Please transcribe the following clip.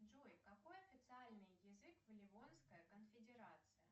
джой какой официальный язык в ливонская конфедерация